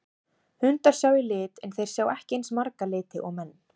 Hundar sjá í lit en þeir sjá ekki eins marga liti og menn.